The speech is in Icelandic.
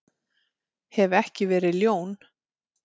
Ég hef ekki verið ljón.